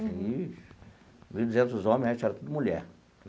Mil e duzentos homens, o resto era tudo mulher.